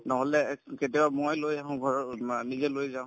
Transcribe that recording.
নহলে কেতিয়াবা মই লৈ আহো ঘৰৰ বা নিজে লৈ যাওঁ